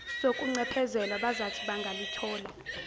sokuncephezelwa bazathi bangalithola